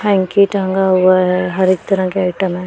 Hanky टांगा हुआ है हर एक तरह के आईटम है।